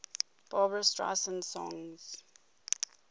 barbra streisand songs